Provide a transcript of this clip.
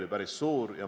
Hea peaminister!